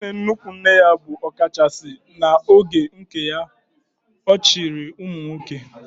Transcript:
Nne nnukwu nne ya bụ ọkachasị n'oge nke ya, ọ chịrị ụmụnwoke